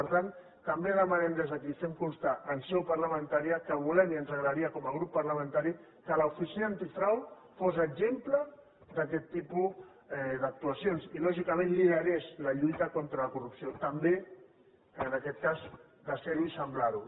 per tant també demanem des d’aquí fem constar en seu parlamentària que volem i ens agradaria com a grup parlamentari que l’oficina antifrau fos exemple d’aquest tipus d’actuacions i lògicament liderés la lluita contra la corrupció també en aquest cas de ser ho i semblar ho